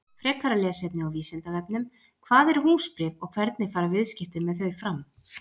Frekara lesefni á Vísindavefnum: Hvað eru húsbréf og hvernig fara viðskipti með þau fram?